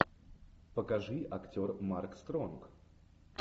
покажи актер марк стронг